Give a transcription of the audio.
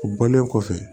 U bɔlen kɔfɛ